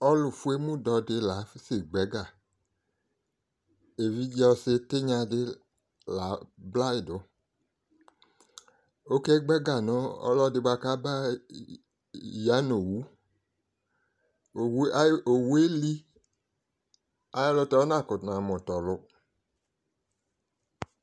Ɔlʋfuemudɔ di la asɛgba ɛga Evidze ɔsɩ tɩnya dɩ la ablayidʋ Okegba ɛga nʋ ɔlɔdɩ kaba ya nʋ owu owu yɛ li, ayɛlʋtɛ onakʋtʋ namʋ tɔlʋ